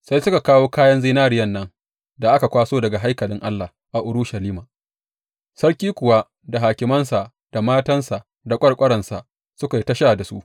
Sai suka kawo kayan zinariyan nan da aka kwaso daga haikalin Allah a Urushalima, sarki kuwa da hakimansa, da matansa, da ƙwarƙwaransa suka yi ta sha da su.